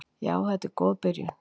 Já þetta er góð byrjun.